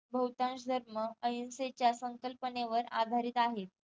बहुतांश धर्म अहिंसेच्या संकल्पनेवर आधारित आहेत